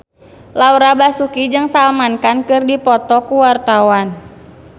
Laura Basuki jeung Salman Khan keur dipoto ku wartawan